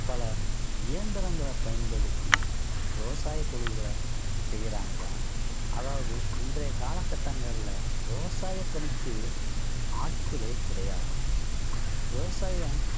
பல இயந்திரங்களை பயன்படுத்தி விவசாய தொழில்களை செய்யுறாங்க. அதாவது இன்றைய காலகட்டங்கள்ல விவசாய பணிக்கு ஆட்களே கிடையாது விவசாயம்